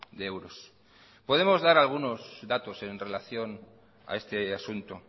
de euros podemos dar algunos datos en relación a este asunto